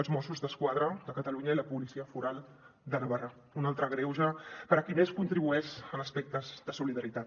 els mossos d’esquadra de catalunya i la policia foral de navarra un altre greuge per a qui més contribueix en aspectes de solidaritat